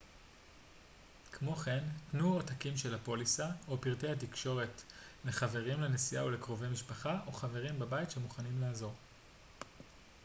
כמו כן תנו עותקים של הפוליסה/פרטי התקשרות לחברים לנסיעה ולקרובי משפחה או חברים בבית שמוכנים לעזור